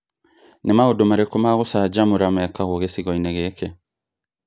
Nĩ maũndũ marĩkũ ma gũcanjamũra mekagwo gĩcigo-inĩ gĩkĩ?